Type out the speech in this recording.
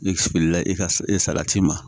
Ne sigili la e ka salati ma